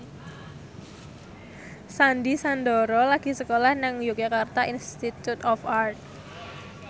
Sandy Sandoro lagi sekolah nang Yogyakarta Institute of Art